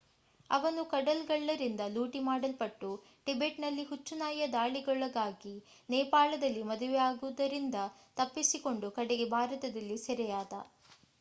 ಅವನು ಕಡಲ್ಗಳ್ಳರಿಂದ ಲೂಟಿ ಮಾಡಲ್ಪಟ್ಟು ಟಿಬೆಟ್‌ನಲ್ಲಿ ಹುಚ್ಚು ನಾಯಿಯ ದಾಳಿಗೊಳಗಾಗಿ ನೇಪಾಳದಲ್ಲಿ ಮದುವೆಯಾಗುವುದರಿಂದ ತಪ್ಪಿಸಿಕೊಂಡು ಕಡೆಗೆ ಭಾರತದಲ್ಲಿ ಸೆರೆಯಾದ